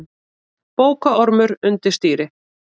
Bókaormur undir stýri